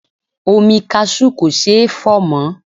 Omi kasú kò ṣeé fọ̀ mọ́.